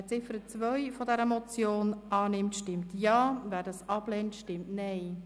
Wer die Ziffer 2 der Motion annimmt, stimmt Ja, wer diese ablehnt, stimmt Nein.